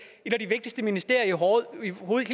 et af de vigtigste ministerier rolle